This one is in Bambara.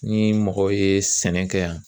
Ni mɔgɔw ye sɛnɛ kɛ yan